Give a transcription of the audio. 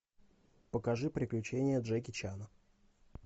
покажи приключения джеки чана